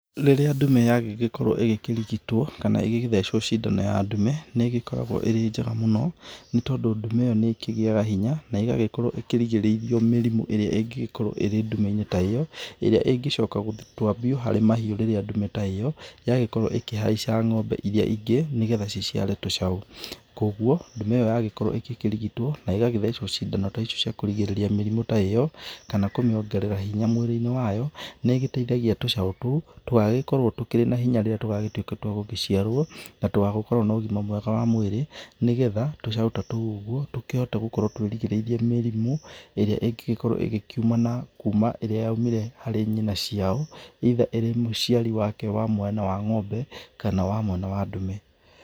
Rĩrĩa ndume yagĩkorwo ĩgĩkĩrigitwo kana ĩgĩgĩthecwo cindano ya ndume nĩ gĩkoragwo irĩ njega mũno, nĩ tondũ ndume ĩyo nĩ kĩgĩyaga hinya na ĩgagĩkorwo ĩkĩrigĩrĩirio mĩrimũ ĩria ingĩgĩkorwo arĩ ndume inĩ ta ĩyo, irĩa ĩngĩcoka gũtambio harĩ mahiũ rĩrĩa ndume ta ĩyo yagĩkorwo ĩkĩhaica ng'ombe irĩa ingĩ, nĩgetha ciciare tũcaũ. Koguo ndume ĩyo yagĩkorwo ĩgĩkĩrigitwo nĩgagĩthecwo cindano cia kũrigĩrĩria mĩrimũ ta ĩyo, kana kũmĩongerera hinya mwĩrĩ-inĩ wayo nĩigĩteithagia tũcaũ tũu tũgagĩkorwo tũrĩ na hinya rĩrĩa tũgagĩtuĩka twa gũciarwo, na tũgakorwo na ũgima mwega wa mwĩrĩ, nĩgetha tũcaũ ta tũu ũguo tũhote gũkorwo tũrigĩrĩirio mĩrimũ ĩria ĩngĩgĩkorwo ĩgĩkiuma kumana na ĩria yaumire kuma harĩ nyina ciao, either irĩ mũciari wake wa mwena wa ng'ombe kana mwena wa ndume.